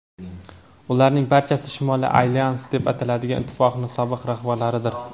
ularning barchasi Shimoliy alyans deb ataladigan ittifoqning sobiq rahbarlaridir.